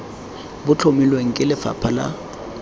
bo tlhomilweng ke lefapha la